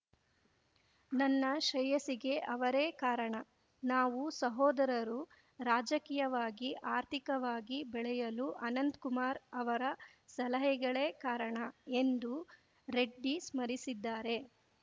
ನನ್ನ ಶ್ರೇಯಸ್ಸಿಗೆ ಅವರೇ ಕಾರಣ ನಾವು ಸಹೋದರರು ರಾಜಕೀಯವಾಗಿ ಆರ್ಥಿಕವಾಗಿ ಬೆಳೆಯಲು ಅನಂತ್ ಕುಮಾರ್ ಅವರ ಸಲಹೆಗಳೇ ಕಾರಣ ಎಂದೂ ರೆಡ್ಡಿ ಸ್ಮರಿಸಿದ್ದಾರೆ